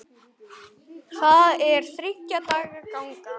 Það er þriggja daga ganga.